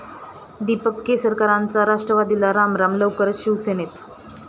दीपक केसरकरांचा राष्ट्रवादीला रामराम, लवकरचं शिवसेनेत